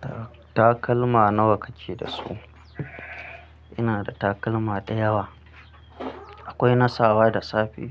Ta-takalma nawa kake da su? Ina da takalma da yawa. Akwai nasawa da safe,